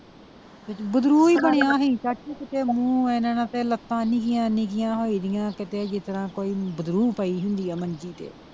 ਹੀ ਬਣਿਆ ਸੀ ਚਾਚੀ ਕੀਤੇ ਮੂਹ ਏਨਾ ਏਨਾ ਤੇ ਲੱਤਾਂ ਨਿੱਕੀਆਂ ਨਿੱਕੀਆਂ ਹੋਏਦੀਆਂ ਕੀਤੇ ਜੀਤਰਾਂ ਕੋਈ ਬਰੁ ਪਈ ਹੁੰਦੀ ਆ ਮੰਜੀ ਤੇ।